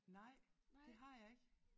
Nej det har jeg ikke